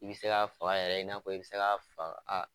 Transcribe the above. I bɛ se k'a faga yɛrɛ i n'a fɔ i bɛ se fa a